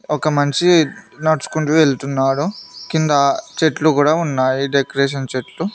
ఒక మనిషి నడుచుకుంటూ వెళ్తున్నాడు కింద చెట్లు కూడా ఉన్నాయి డెకరేషన్ చెట్లు.